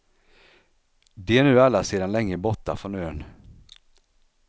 De är nu alla sedan länge borta från ön.